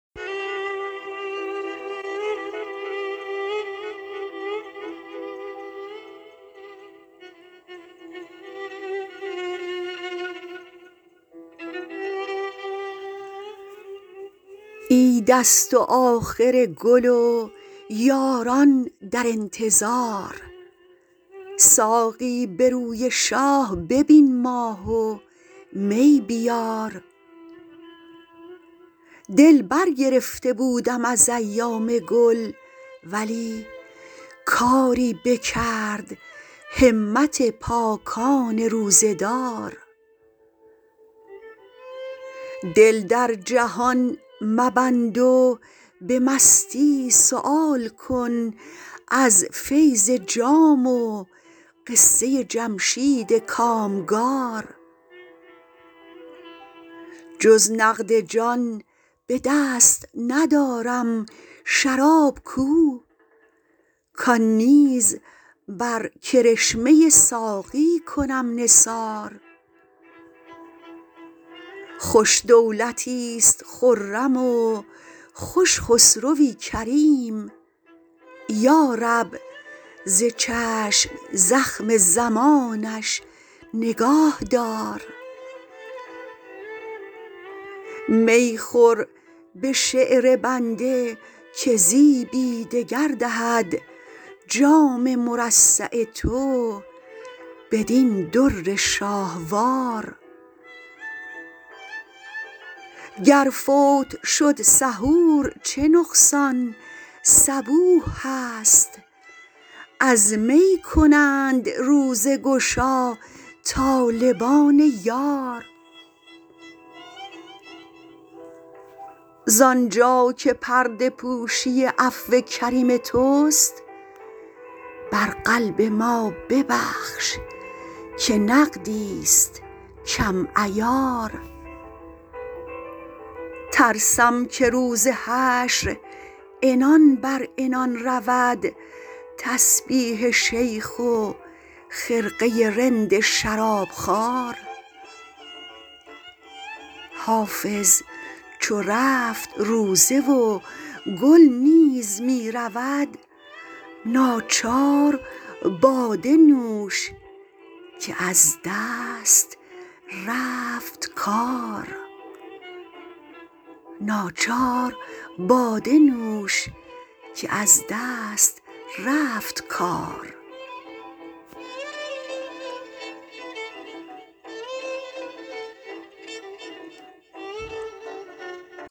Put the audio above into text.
عید است و آخر گل و یاران در انتظار ساقی به روی شاه ببین ماه و می بیار دل برگرفته بودم از ایام گل ولی کاری بکرد همت پاکان روزه دار دل در جهان مبند و به مستی سؤال کن از فیض جام و قصه جمشید کامگار جز نقد جان به دست ندارم شراب کو کان نیز بر کرشمه ساقی کنم نثار خوش دولتیست خرم و خوش خسروی کریم یا رب ز چشم زخم زمانش نگاه دار می خور به شعر بنده که زیبی دگر دهد جام مرصع تو بدین در شاهوار گر فوت شد سحور چه نقصان صبوح هست از می کنند روزه گشا طالبان یار زانجا که پرده پوشی عفو کریم توست بر قلب ما ببخش که نقدیست کم عیار ترسم که روز حشر عنان بر عنان رود تسبیح شیخ و خرقه رند شرابخوار حافظ چو رفت روزه و گل نیز می رود ناچار باده نوش که از دست رفت کار